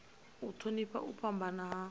u thonifha u fhambana ha